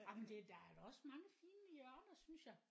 Jamen det der er da også mange fine hjørner synes jeg